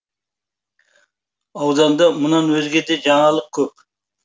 ауданда мұнан өзге де жаңалық көп